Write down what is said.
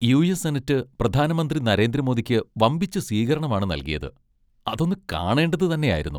U. S. Senate പ്രധാനമന്ത്രി നരേന്ദ്ര മോദിക്ക് വമ്പിച്ച സ്വീകരണമാണ് നൽകിയത്, അതൊന്ന് കാണേണ്ടത് തന്നെയായിരുന്നു.